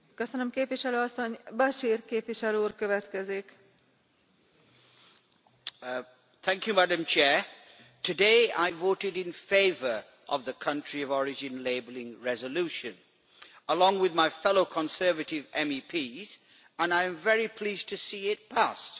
Madam President, today I voted in favour of the country of origin labelling resolution, along with my fellow Conservative MEPs, and I am very pleased to see it passed.